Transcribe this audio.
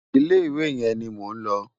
Ilé iwé yén ni mó n lò